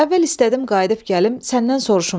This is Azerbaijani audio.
Əvvəl istədim qayıdıb gəlim səndən soruşum.